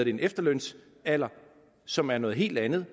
en efterlønsalder som er noget helt andet